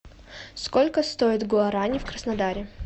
сколько стоит гуарани в краснодаре